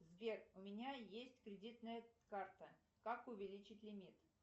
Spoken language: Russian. сбер у меня есть кредитная карта как увеличить лимит